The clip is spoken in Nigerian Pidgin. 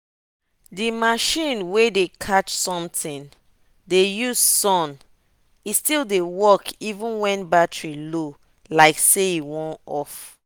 that machine way dey catch something dey use sun e still dey work even when battery low like say e wan off.